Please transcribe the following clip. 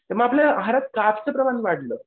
आपल्या आहारात कार्ब्सचं प्रमाण वाढलं.